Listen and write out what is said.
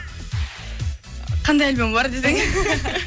қандай альбомы бар десең